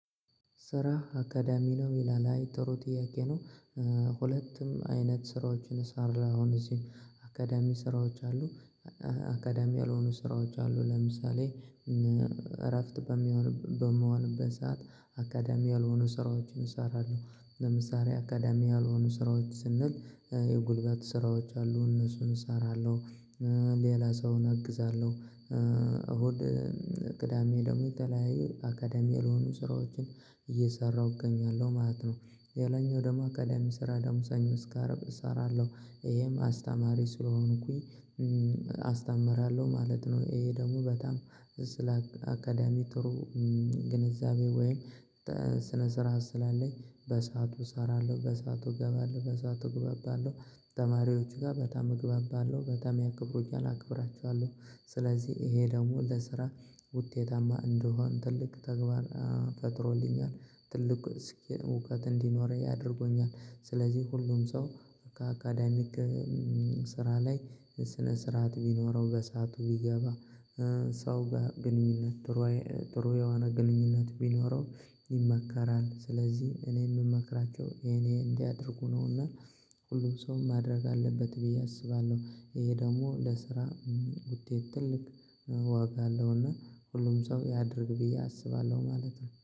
ስራ አካዳሚ ነው ይላል አይ ጥሩ ጥያቄ ነው። ሁለቱም አይነት ስራዎችን ሳር አሁን እዚህም አካዳሚ ስራዎች አሉ። አካዳሚ ያልሆኑ ስራዎች አሉ ለምሳሌ እረፍት በምሆንበት ሰዓት አካዳሚ ያልሆኑ ስራዎችን እሰራለሁ። ለምሳሌ አካዳሚ ያልሆኑ ስራዎች ስንል የጉልበት ስራዎች አሉ እነሱን እሰራለሁ። ሌላ ሰውን አግዛለሁ። እሁድ ቅዳሜ ደግሞ የተለያየ አካዳሚ ያልሆኑ ስራዎችን እየሰራሁ እገኛለሁ ማለት ነው። ሌላኛው ደግሞ አካዳሚ ስራ ደግሞ ሰኞ እስከ አርብ እሰራለሁ ይሄም አስተማሪ ስለሆንኩኝ አስተምራለሁ ማለት ነው። ይሄ ደግሞ በጣም ስለ አካዳሚ ጥሩ ግንዛቤ ወይም ስነ ስርዓት ስላለኝ በሰአቱ እሰራለሁ በሰአቱ እገባለሁ በሰአቱ እግባባለሁ ተማሪዎች ጋር በታም እግባባለሁ በታም ያክብሩኛል አክብራቸዋለሁ። ስለዚህ ይሄ ደግሞ ለስራ ውጤታማ እንደሆን ትልቅ ተግባር ፈጥሮልኛል ትልቅ እስኪ እውቀት እንዲኖረኝ ያደርጉኛል። ስለዚህ ሁሉም ሰው ከአካዳሚክ ስራ ላይ ስነ ስርዓት ቢኖረው በሰአቱ ቢገባ ሰው ጋር ግንኙነት ጥሩ ጥሩ የሆነ ግንኙነት ቢኖረው ይመከራል። ስለዚህ እኔ የምመክራቸው የኔ እንዲያደርጉ ነውና ሁሉም ሰው ማድረግ አለበት ብዬ አስባለሁ። ይሄ ደግሞ ለስራ ውጤት ትልቅ ዋጋ አለውና ሁሉም ሰው ያድርግ ብዬ አስባለሁ ማለት ነው